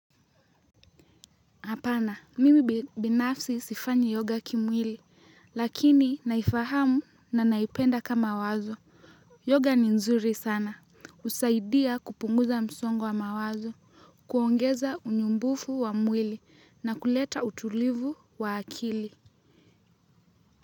Hapana, mimi binafsi sifanyi yoga kimwili, lakini naifahamu na naipenda kama wazo. Yoga ni nzuri sana. Husaidia kupunguza msongo wa mawazo. Kuongeza unyumbufu wa mwili na kuleta utulivu wa akili.